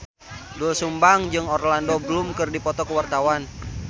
Doel Sumbang jeung Orlando Bloom keur dipoto ku wartawan